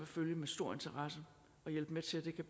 følge med stor interesse og hjælpe med til